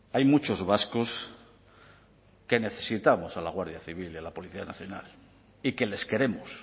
hay muchos vascos que necesitamos a la guardia civil y a la policía nacional y que les queremos